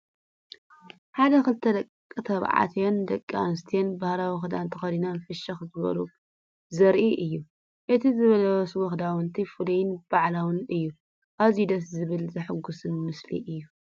ሓደ ክልተ ደቂ ተባዕትዮን ደቂ ኣንስትዮን ባህላዊ ክዳን ተኸዲኖም ፍሽኽ ክብሉ ዘርኢ እዩ። እቲ ዝለበስዎ ክዳውንቲ ፍሉይን በዓላዊን እዩ። ኣዝዩ ደስ ዘብልን ዘሐጉስን ምስሊ እዩ።